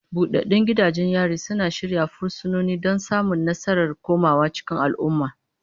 Buɗaɗɗun gidajen yari suna shirya fursunoni don samun nasarar komawa cikin al'umma.